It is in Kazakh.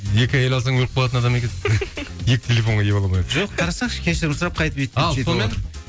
екі әйел алсаң өліп қалатын адам екенсің екі телефонға ие бола алмай жоқ қарасаңшы кешірім сұрап